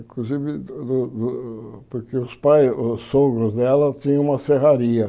Inclusive, do do porque os pais, os sogros dela tinham uma serraria.